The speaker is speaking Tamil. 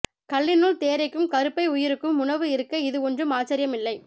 கல்லினுள் தேரைக்கும் கருப்பை உயிருக்கும் உணவு இருக்க இது ஒன்றும் ஆச்சரியம் இல்லை